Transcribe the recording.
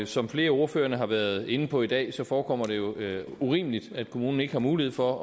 som flere af ordførerne har været inde på i dag forekommer det jo urimeligt at kommunen ikke har mulighed for